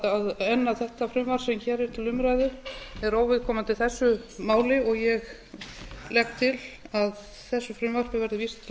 enn að þetta frumvarp sem hér er til umræðu er óviðkomandi þessu máli og ég legg til að þessu frumvarpi verði vísað til